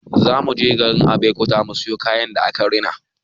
Za mu je garin Abeokuta mu siyo kayan da aka rina.